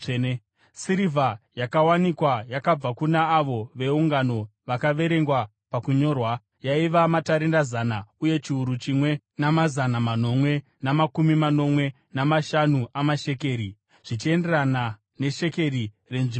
Sirivha yakawanikwa yakabva kuna avo veungano vakaverengwa pakunyorwa, yaiva matarenda zana, uye chiuru chimwe namazana manomwe namakumi manomwe namashanu amashekeri , zvichienderana neshekeri renzvimbo tsvene,